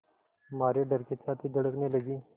मारे डर के छाती धड़कने लगी